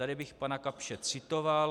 Tady bych pana Kapsche citoval.